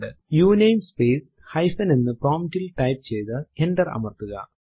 ഉണമേ space hyphen എന്ന് prompt ൽ type ചെയ്തു എന്റർ അമർത്തുക